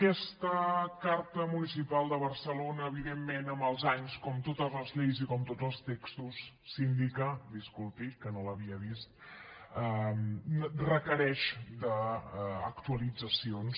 aquesta carta municipal de barcelona evidentment amb els anys com totes les lleis i com tots els textos síndica disculpi que no l’havia vist requereix actualitzacions